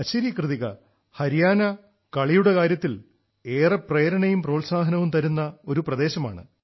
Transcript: ശരി കൃതികാ ഹരിയാന കളിയുടെ കാര്യത്തിൽ രാജ്യം മുഴുവനും പ്രേരണയും പ്രോത്സാഹനവും തരുന്ന ഒരു പ്രദേശമാണ്